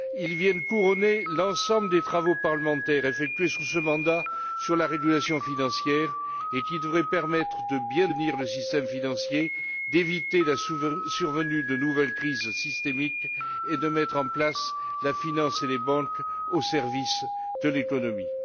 Ils viennent couronner l'ensemble des travaux parlementaires effectués sous ce mandat sur la régulation financière, lesquels devraient permettre de bien tenir le système financier, d'éviter la survenance de nouvelles crises systémiques et de mettre la finance et les banques au service de l'économie.